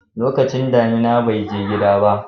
lokacin damina bai je gida ba